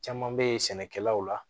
Caman bɛ sɛnɛkɛlaw la